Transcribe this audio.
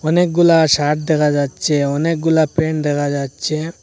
অনেকগুলা শার্ট দেখা যাচ্ছে অনেকগুলো প্যান্ট দেখা যাচ্ছে।